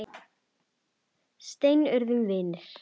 Seinna urðum við vinir.